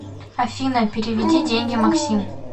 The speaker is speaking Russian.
афина переведи деньги максим